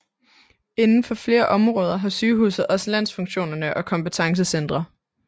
Inden for flere områder har sygehuset også landsfunktionene og kompetancecentre